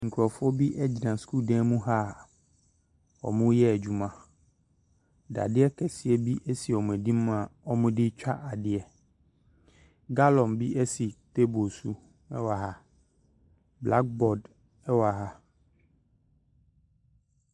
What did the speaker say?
Nkurɔfoɔ bi gyina sukuu dan mu ha a wɔn reyɛ adwuma dadeɛ keseɛ bi si wɔn anim a wɔde twa adeɛ gallon bi esi table so ɛwɔ ha blackboard ɛwɔ ha.